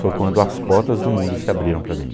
Foi quando as portas do mundo se abriram para mim.